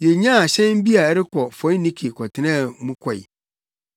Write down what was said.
Yenyaa hyɛn bi a ɛrekɔ Foinike kɔtenaa mu kɔe.